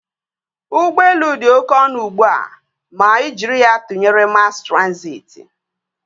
Ụgbọelu dị oké ọnụ ugbua ma ị jiri ya tụnyere mas transịti